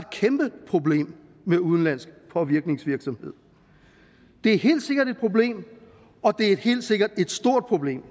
kæmpe problem med udenlandsk påvirkningsvirksomhed det er helt sikkert et problem og det er helt sikkert et stort problem